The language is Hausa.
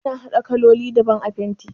Ana haɗa kololi daban a fenti